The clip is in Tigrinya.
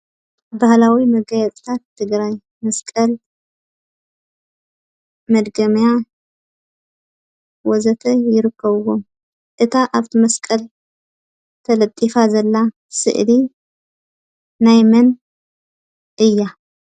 ባህላዊ መጋየፅታት ትግራይ መስቀል ፣ መድገምያ ወዘተ ይርከብዎም፡፡ እታ ኣብ እታ መስቀል ተለጢፋ ዘላ ስእሊ ናይ መን እያ?